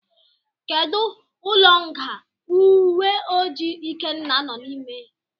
Kedu ụlọ nga uwe ojii ikenna no n'ime.